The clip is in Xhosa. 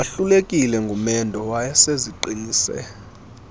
wahlulekile ngumendo wayeseziqinise